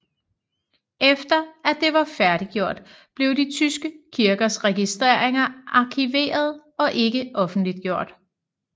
Efter at det var færdiggjort blev de tyske kirkers registreringer arkiveret og ikke offentliggjort